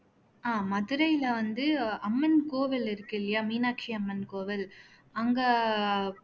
அஹ் மதுரையில வந்து அம்மன் கோவில் இருக்கு இல்லையா மீனாட்சி அம்மன் கோவில் அங்க